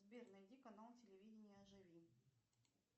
сбер найди канал телевидения живи